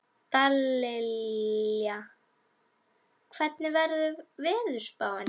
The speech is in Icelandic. Dallilja, hvernig er veðurspáin?